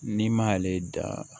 N'i m'ale da